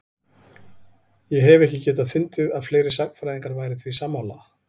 Ég hef ekki getað fundið að fleiri sagnfræðingar væru því sammála?